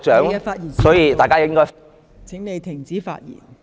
鄭議員，你的發言時限到了，請停止發言。